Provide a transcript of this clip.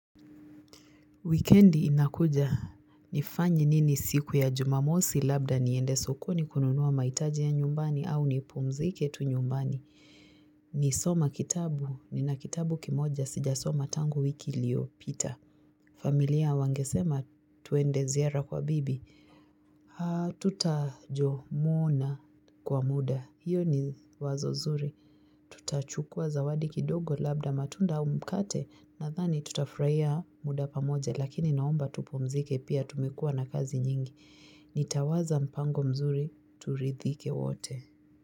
Wikendi inakuja. Nifanye nini siku ya jumamosi? Labda niende sokoni kununuwa maitaji ya nyumbani au nipumzike tu nyumbani. Nisoma kitabu, nina kitabu kimoja sijasoma tangu wiki iliopita. Familia wangesema tuende ziara kwa bibi, tutajomona kwa muda, hiyo ni wazo zuri. Tutachukua zawadi kidogo labda matunda au mkate nadhani tutafurahia muda pamoja lakini naomba tupumzike pia tumekua na kazi nyingi. Nitawaza mpango mzuri turidhike wote.